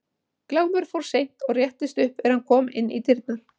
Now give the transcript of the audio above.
Glámur fór seint og réttist upp er hann kom inn í dyrnar.